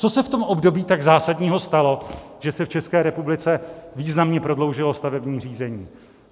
Co se v tom období tak zásadního stalo, že se v České republice významně prodloužilo stavebního řízení?